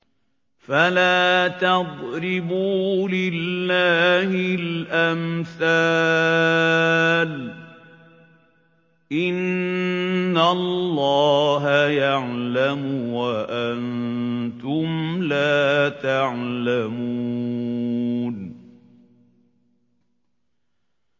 فَلَا تَضْرِبُوا لِلَّهِ الْأَمْثَالَ ۚ إِنَّ اللَّهَ يَعْلَمُ وَأَنتُمْ لَا تَعْلَمُونَ